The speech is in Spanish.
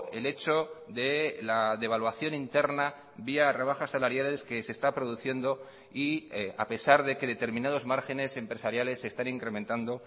el hecho de la devaluación interna vía rebajas salariales que se está produciendo y a pesar de que determinados márgenes empresariales se están incrementando